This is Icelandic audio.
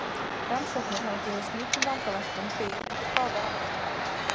Rannsóknir hafa gefið slíkum vangaveltum byr undir báða vængi.